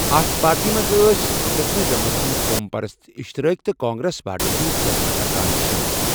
اتھ پارٹی منٛز أس دچھنہِ جَمٲژ ہٕنٛدۍ قوم پرست، اِشتِرٲکی تہٕ کانگریس پارٹی ہٕنٛد سٲبِقہٕ ارکان شٲمِل۔